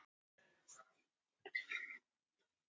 Jón Daði hefur æft sjálfur en ekki með hópnum.